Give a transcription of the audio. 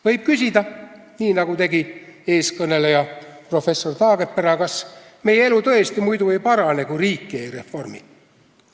Võib küsida, nii nagu tegi eelkõneleja professor Taagepera, kas meie elu tõesti muidu ei parane, kui riiki ei reformi.